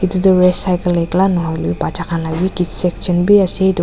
edu tu race cycle ekla nahoilae na bacha khan la bi kids section biase edu--